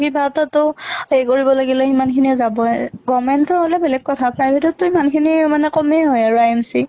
কিবা এটা তো হেৰি কৰিব লাগিলে সিমান খিনিয়ে যাবই, government ৰ হʼলে বেলেগ কথা private ত টো ইমান খিনি মানে কমে হয় আৰু IMC